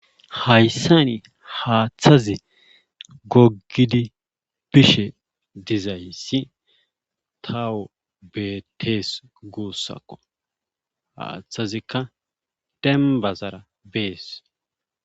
Haysan haathazi gogid bishe dizays tawu betes gusako, hathazika dembazara besi.